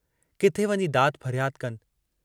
किथे वञी दाद फरियाद कनि।